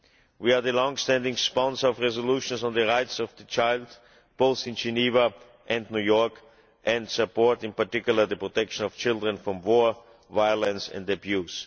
We are the long standing sponsor of resolutions on the rights of the child, both in Geneva and New York, and support in particular the protection of children from war, violence and abuse.